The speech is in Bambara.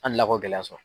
An delila k'o gɛlɛya sɔrɔ